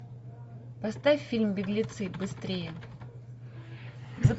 поставь фильм беглецы быстрее